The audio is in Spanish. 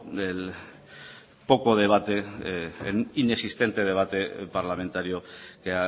del poco debate inexistente debate parlamentario que